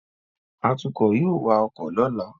Atukọ̀ yóò wa ọkọ̀ lọ́la